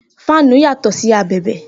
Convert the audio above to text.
Fáánù yàtọ̀ sí abẹ̀bẹ̀